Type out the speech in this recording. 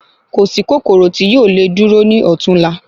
Kòsí kòkòrò ti yoo lè dúró ní ọtún la